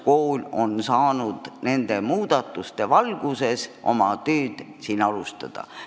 Kuidas kool on saanud nende muudatuste valguses oma tööd alustada?